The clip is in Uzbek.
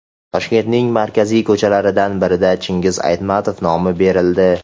Toshkentning markaziy ko‘chalaridan biriga Chingiz Aytmatov nomi berildi.